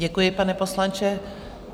Děkuji, pane poslanče.